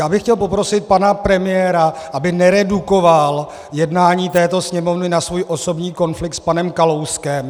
Já bych chtěl poprosit pana premiéra, aby neredukoval jednání této Sněmovny na svůj osobní konflikt s panem Kalouskem.